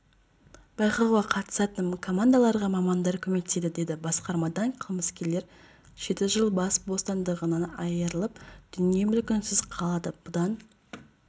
байқауға қатысатын командаларға мамандар көмектеседі деді басқармадан қылмыскерлер жеті жыл бас бостандығынан айырылып дүние-мүлкінсіз қалады бұдан